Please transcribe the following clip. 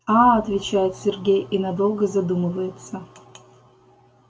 аа отвечает сергей и надолго задумывается